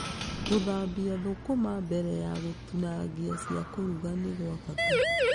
Gũthambia thũkũma mbere ya gũtinangia cia kũruga nĩ gwa bata.